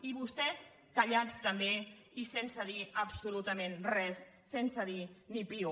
i vostès callats també i sense dir absolutament res sense dir ni piu